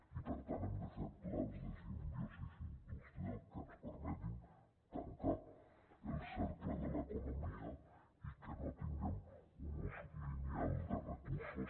i per tant hem de fer plans de simbiosi industrial que ens permetin tancar el cercle de l’economia i que no tinguem un ús lineal de recursos